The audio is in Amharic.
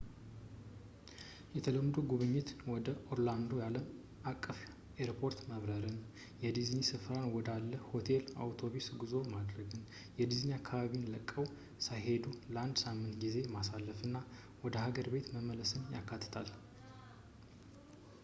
የተለምዶ ጉብኝት ወደ ኦርላንዶ አለም አቀፍ ኤርፖርት መብረርን በዲዝኒ ስፍራ ወዳለ ሆቴል የአውቶቢስ ጉዞ ማድረግ የዲዝኒን አካባቢ ለቀው ሳይሄዱ የአንድ ሳምንት ጊዜ ማሳለፍና ወደ ሀገር ቤት መመለስን ያካትታል